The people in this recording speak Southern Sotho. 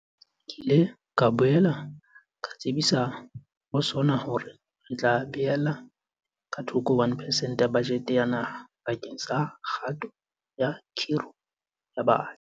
Ke ile ka boela ka tsebisa ho SoNA hore re tla beella ka thoko 1 percent ya bajete ya naha bakeng sa kgato ya kgiro ya batjha.